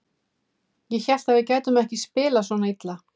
Ég hélt að við gætum ekki spilað svona illa.